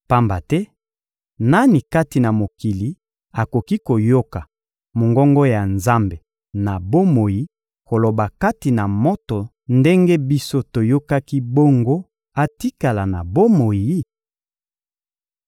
Pamba te nani kati na mokili akoki koyoka mongongo ya Nzambe na bomoi koloba kati na moto ndenge biso toyokaki bongo atikala na bomoi?